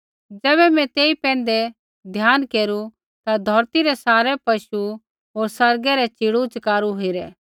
ज़ैबै मैं तेई पैंधै ध्यान केरू ता धौरती रै सारै पशु होर आसमानै रै च़ीड़ूच़कारू हेरै